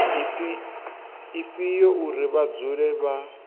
ifhio uri vha dzule vha